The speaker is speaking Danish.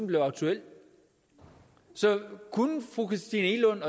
blive aktuelt så kunne fru christina egelund